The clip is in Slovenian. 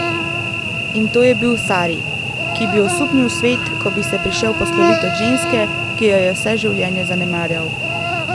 In to je bil sari, ki bi osupnil svet, ko bi se prišel poslovit od ženske, ki jo je vse življenje zanemarjal.